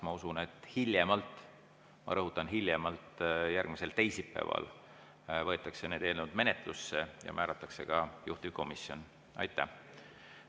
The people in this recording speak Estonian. Ma usun, et hiljemalt – ma rõhutan: hiljemalt – järgmisel teisipäeval võetakse need eelnõud menetlusse ja määratakse ka juhtivkomisjonid.